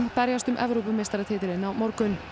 berjast um Evrópumeistaratitilinn á morgun